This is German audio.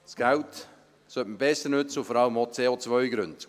Das Geld sollte besser genutzt werden und vor allem auch CO-Gründe.